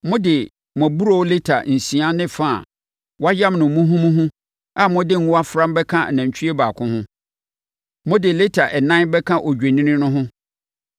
Mode mo aburoo lita nsia ne fa a wɔayam no muhumuhu a mode ngo afra bɛka nantwie baako ho. Mode lita ɛnan bɛka odwennini no ho;